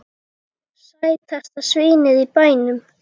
Sætasta svínið í bænum!